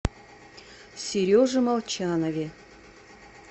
сереже молчанове